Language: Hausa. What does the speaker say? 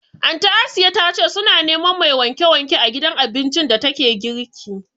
Anty Asiya ta ce su na neman mai wanke wanke a gidan abincin da ta ke girki